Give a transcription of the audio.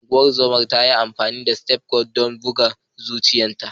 Ungozomar ta yi amfani da stethoscope don duba bugun zuciyarta.